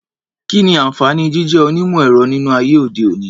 Kí ni àǹfààní jíjé onímọ̀-ẹ̀rọ nínú ayé òde-òní?